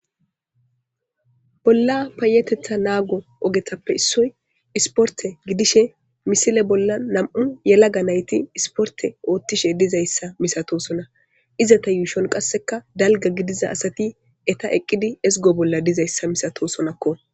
Bolla payetetha naago ogetappe issoy isporte gidishe misile bolla nam7u yelaga nayti isporte oottishe dizayssa misatosona izata yuushon qasseka dalga gidiza asati eta eqqidi ezgo bolla dizayssa misatosonakko